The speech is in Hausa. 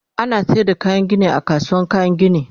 ana sayar da kayan Gini a kasuwar kayan Gini